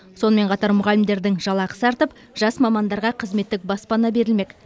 сонымен қатар мұғалімдердің жалақысы артып жас мамандарға қызметтік баспана берілмек